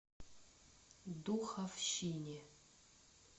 духовщине